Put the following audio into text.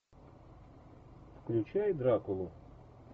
включай дракулу